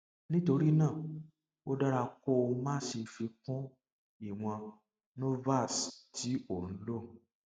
nítorí náà ó dára kó o má ṣe fi kún ìwọn norvasc tí ò ń lò